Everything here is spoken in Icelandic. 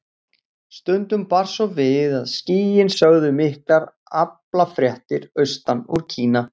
Stundum bar svo við að skýin sögðu miklar aflafréttir austan úr Kína.